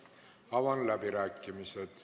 Aitäh, Marko Pomerants!